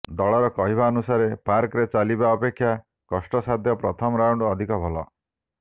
ଦଳର କହିବାନୁସାରେ ପାର୍କରେ ଚାଲିବା ଅପେକ୍ଷା କଷ୍ଟସାଧ୍ୟ ପ୍ରଥମ ରାଉଣ୍ତ ଅଧିକ ଭଲ